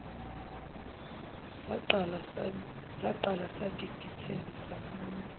saqala sagigitheka sahamba